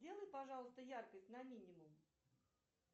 сделай пожалуйста яркость на минимум